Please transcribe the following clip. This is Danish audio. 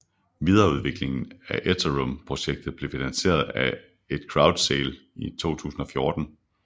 Videreudviklingen af Ethereum projektet blev finansieret af et crowdsale i 2014